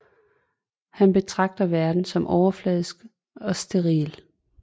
Han betragter verden som overfladisk og steril